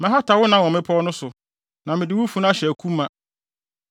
Mɛhata wo nam wɔ mmepɔw no so na mede wo funu ahyɛ aku ma.